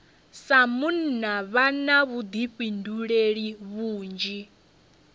sa munna vha na vhuḓifhinduleli vhunzhi